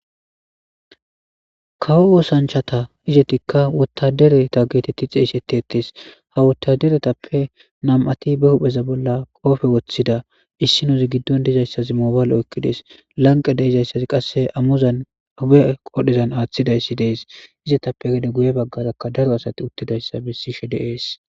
Kawo wosanchata izetikka wotadereta geetetti xeesete ettes ha wottaderetappe nam'ati be hupheza bolla qoofe woththida issinozi giddon dizayssazi moobaale okkides lanqe deizayssazi qasse amuzan huphe qodhezan aaththidayssi dees izetappe gede guye baggarakka daro asati uttidayssa bessishe deees